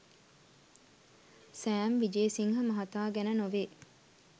Sam Wijesinghe මහතා ගැන නොවේ